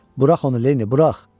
Bırax onu, Lenni, bırax!